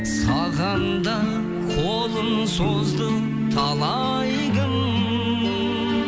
саған да қолын созды талай кім